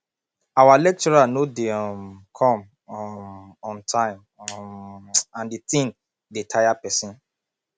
our lecturer no dey um come um on time um and the thing dey tire person